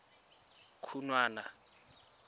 khunwana